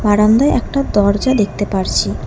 বারান্দায় একটা দরজা দেখতে পারছি।